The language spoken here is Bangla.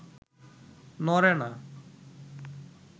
নড়ে না